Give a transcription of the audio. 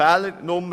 Fehler 3